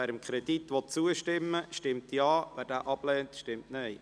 Wer diesem Kredit zustimmen will, stimmt Ja, wer diesen ablehnt, stimmt Nein.